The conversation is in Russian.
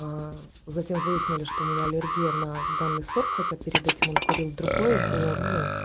аа затем выяснили что у меня аллергия на данный сорт хотя перед этим он курил другой было ну